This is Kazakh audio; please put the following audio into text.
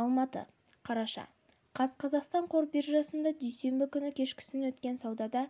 алматы қараша қаз қазақстан қор биржасында дүйсенбі күні кешкісін өткен саудада